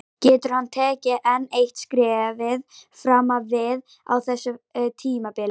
Getur hann tekið enn eitt skrefið fram á við á þessu tímabili?